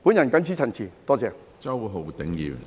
我謹此陳辭，多謝。